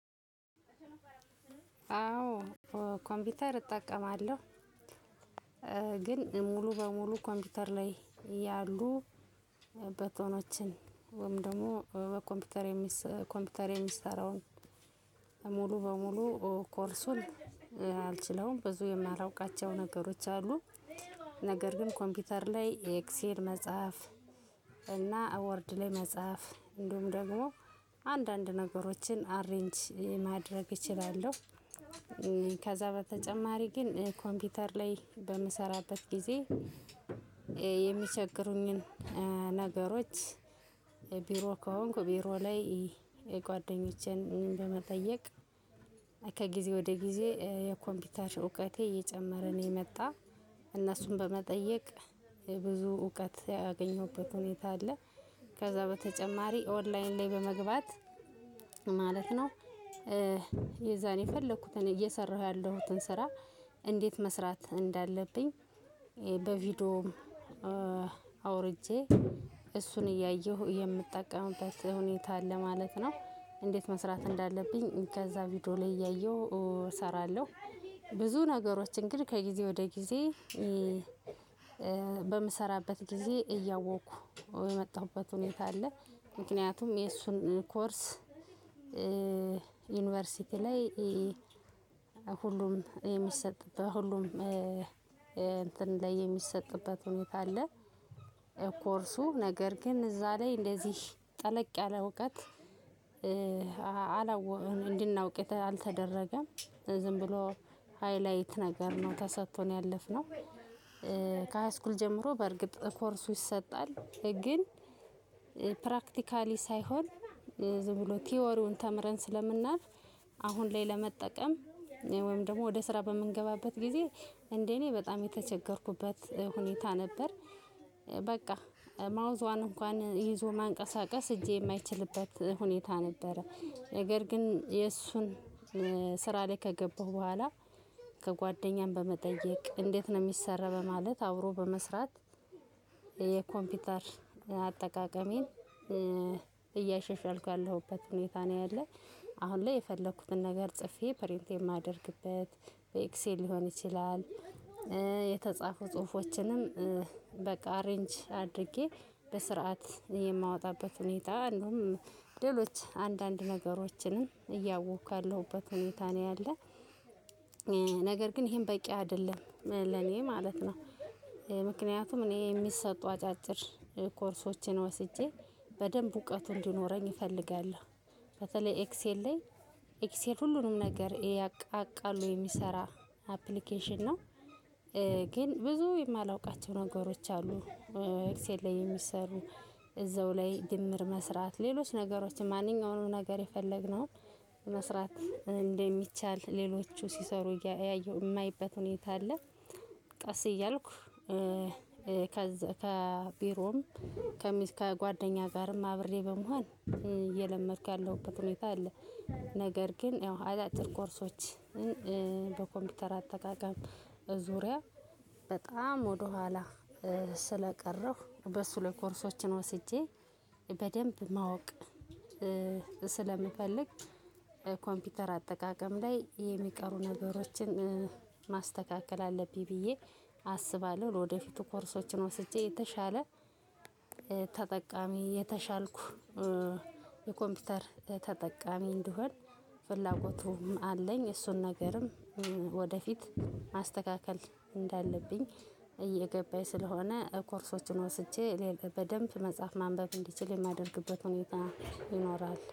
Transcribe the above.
አዎ ኮምፒውተር እጠቀማለሁ፤ ግን ሙሉ በሙሉ ኮምፒውተር ላይ ያሉ በተኖችን ወይም ደግሞ ኮምፒውተር የሚሰራውን ሙሉ በሙሉ ኮርሱን አልችለውም። ብዙ የማላውቃቸው ነገሮች አሉ። ነገር ግን ኮምፒውተር ላይ ኤክሴል መጻፍ እና አወርድ ላይ መጻፍ እንዲሁም ደግሞ አንዳንድ ነገሮችን አሬንጅ ማድረግ እችላለው። ከዛ በተጨማሪ ግን ኮምፒውተር ላይ በምሰራበት ጊዜ የሚቸግሩኝን ነገሮች ቢሮ ከሆንኩ ቢሮ ላይ ጓደኞቼን በመጠየቅ ከጊዜ ወደ ጊዜ የኮምፒውተር እውቀቴ እየጨመረ ነው የመጣው እነሱን በመጠየቅ ብዙ እውቀት ያገኘሁበት ሁኔታ አለ። ከዛ በተጨማሪ ኦንላይን ላይ በመግባት ማለት ነ፣ የዛን የፈለኩትን እየሰራሁ ያለሁትን ስራ እንዴት መስራት እንዳለብኝ በቪዲዮ አውርጄ፣ እሱን እያየሁ የምጠቀምበት ሁኔታ አለ ማለት ነው። እንዴት መስራት እንዳለብኝ ከዛ ቪዲዮ ላይ እያየሁ እሰራለሁ። ብዙ ነገሮችን ግን ከጊዜ ወደ ጊዜ በምሰራበት ጊዜ እያወቅኩ የመጣሁበት ሁኔታ አለ፤ ምክንያቱም የእሱን ኮርስ ዩኒቨርሲቲ ላይ ሁሉም የሚሰጥ በሁሉም እንትን ላይ የሚሰጥበት ሁኔታ አለ። ኮርሱ ነገር ግን እዛ ላይ እንደዚህ ጠለቅ ያለ እውቀት እንድናውቅ አልተደረገም፤ ዝም ብሎ ሃይላይት ነገር ነው ተሰጥቶን ያለፍነው። ከሃይስኩል ጀምሮ በእርግጥ ኮርሱ ይሰጣል ግን ፕራክቲካሊ ሳይሆን ዝም ብሎ ቲዎሪውን ተምረን ስለምናልፍ፣ አሁን ላይ ለመጠቀም ወይም ደግሞ ወደ ስራ በምንገባበት ጊዜ እንደ እኔ በጣም የተቸገርኩበት ሁኔታ ነበር። በቃ ማውዟን እንኳን ይዞ መንቀሳቀስ እጄ የማይችልበት ሁኔታ ነበር። ነገር ግን የእሱን ስራ ላይ ከገባሁ በኋላ ከጓደኛም በመጠየቅ እንዴት ነው የሚሰራው በማለት አብሮ በመስራት የኮምፒውተር አጠቃቀሜን እያሻሻልኩ ያለሁበት ሁኔታ ነው ያለ። አሁን ላይ የፈለኩትን ነገር ጽፌ ፕሪንት የማደርግበት በኤክሴል ሊሆን ይችላል፣ የተጻፉ ጽሁፎችንም በቃ አሬንጅ አድርጌ በስርዓት የማወጣበት ሁኔታ እንደውም ሌሎች አንዳንድ ነገሮችንም እያወቅኩ ያለሁበት ሁኔታ ነው ያለው። ነገር ግን ይሄም በቂ አይደለም ለኔ ማለት ነው። ምክንያቱም እኔ የሚሰጡ አጫጭር ኮርሶቼን ወስጄ በደንብ እውቀቱ እንዲኖረኝ እፈልጋለሁ። በተለይ ኤክሴል ላይ ኤክሴል ሁሉንም ነገር አቃሎ የሚሰራ አፕሊኬሽን ነው። ግን ብዙ የማላውቃቸው ነገሮች አሉ ኤክስኤል ላይ የሚሰሩ እዛው ላይ ድምር መስራት ሌሎች ነገሮች ማንኛውም ነገር የፈለግነው፣ መስራት እንደሚቻል ሌሎቹ ሲሰሩ የማይበት ሁኔታ አለ። ቀስ እያልኩ ከቢሮም ከጓደኛ ጋርም አብሬ በመሆን እየለመድኩ ያለሁበት ሁኔታ አለ። ነገር ግን ያው አጫጭር ኮርሶችን በኮምፒውተር አጠቃቀም ዙሪያ በጣም ወደኋላ ስለቀረሁ በሱ ላይ ኮርሶችን ወስጄ በደንብ ማወቅ ስለምፈልግ፣ ኮምፒውተር አጠቃቀም ላይ የሚቀሩ ነገሮችን ማስተካከል አለብኝ ብዬ አስባለሁ። ለወደፊቱ ኮርሶችን ወስጄ የተሻለ ተጠቃሚ፣ የተሻልኩ የኮምፒውተር ተጠቃሚ እንድሆን ፍላጎቱም አለኝ እሱን ነገርም ወደፊት ማስተካከል እንዳለብኝ እየገባኝ ስለሆነ ኮርሶችን ወስጄ በደንብ መጻፍ ማንበብ እንድችል የማደርግበት ሁኔታ ይኖራል።